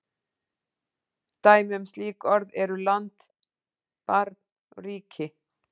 Dæmi um slík orð eru land, barn, ríki.